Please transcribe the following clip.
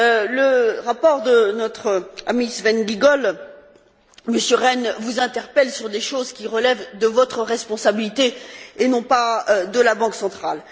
Le rapport de notre ami Sven Giegold, Monsieur Rehn, vous interpelle sur des choses qui relèvent de votre responsabilité et non pas de celle de la Banque centrale.